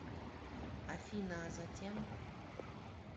афина а затем